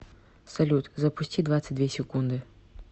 салют запусти двадцать две секунды